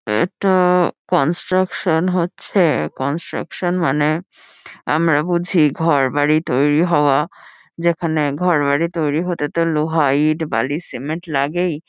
এটা-আ construction হচ্ছে। Construction মানে আমরা বুঝি ঘর-বাড়ি তৈরী হওয়া যেখানে ঘর-বাড়ি তৈরী হতে তো লোহা ইট বালি সিমেন্ট লাগেই।